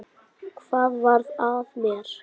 Hvað varð af mér?